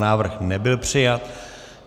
Návrh nebyl přijat.